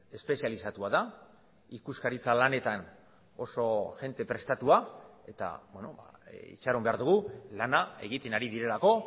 espezializatua da ikuskaritza lanetan oso jende prestatua eta itxaron behar dugu lana egiten ari direlako